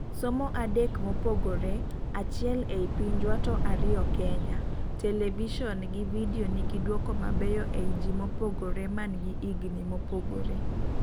somo adek mopogore(achiel e pinjwa to ariyo Kenya ), television gi video nigi duoko mabeyo ei ji mobogore mangi igni mobogoree